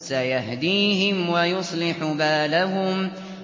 سَيَهْدِيهِمْ وَيُصْلِحُ بَالَهُمْ